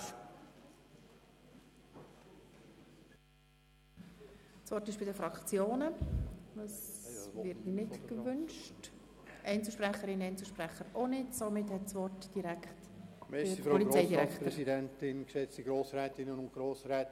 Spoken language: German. Da offenbar keine Fraktionen und keine Einzelsprecher das Wort wünschen, erteile ich es direkt dem Polizeidirektor.